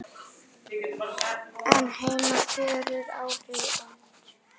en heima fjöruðu áhrifin út.